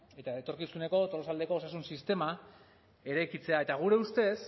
eta etorkizuneko tolosaldeko osasun sistema eraikitzea eta gure ustez